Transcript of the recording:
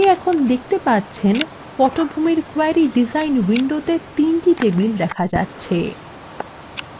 এখন আপনি দেখতে পাচ্ছেন পটভূমির query ডিজাইন window তিনটি টেবিল দেখা যাচ্ছে